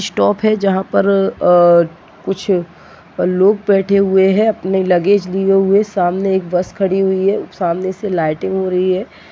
Stop है जहां पर अ कुछ लोग बैठे हुए हैं अपने लगेज लिए हुए सामने एक बस खड़े हुई है सामने से लाइटिंग हो रही है।